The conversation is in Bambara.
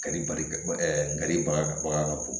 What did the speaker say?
Kadi bali ka yiri bagabaga ka bon